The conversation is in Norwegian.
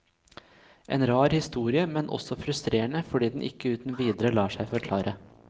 En rar historie, men også frustrerende fordi den ikke uten videre lar seg forklare.